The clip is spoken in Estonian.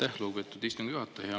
Aitäh, lugupeetud istungi juhataja!